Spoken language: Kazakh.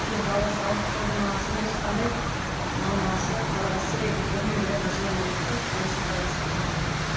иә баласы ауырып қалды ма сондай ешқандай мамасы баласы бірінен бірі ажырамау керек қой ешқандай сепарация болмауы керек